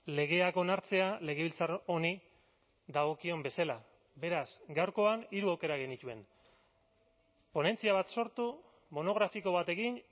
legeak onartzea legebiltzar honi dagokion bezala beraz gaurkoan hiru aukera genituen ponentzia bat sortu monografiko bat egin